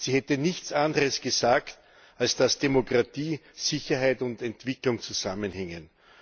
Sie hätte nichts anderes gesagt, als dass Demokratie, Sicherheit und Entwicklung zusammenhängen.